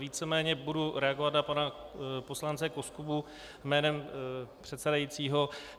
Víceméně budu reagovat na pana poslance Koskubu jménem předsedajícího.